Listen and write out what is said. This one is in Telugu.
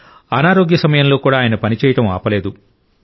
అనారోగ్య సమయంలో కూడా ఆయన పనిచేయడం ఆపలేదు